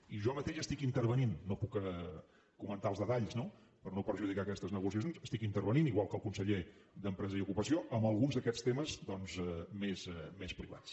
i jo mateix estic intervenint no puc comentar els detalls no per no perjudicar aquestes negociacions estic intervenint igual que el conseller d’empresa i ocupació en alguns d’aquests temes doncs més privats